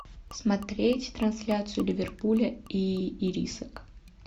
смотреть трансляцию ливерпуля и ирисок